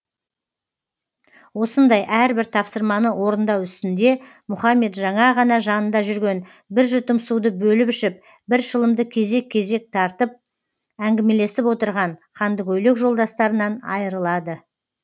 осындай әрбір тапсырманы орындау үстінде мұхамед жаңа ғана жанында жүрген бір жұтым суды бөліп ішіп бір шылымды кезек кезек тартып әңгімелесіп отырған қандыкөйлек жолдастарынан айырылады